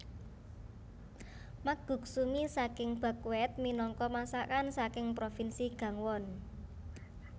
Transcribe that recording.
Makguksu mi saking buckwheat minangka masakan saking provinsi Gangwon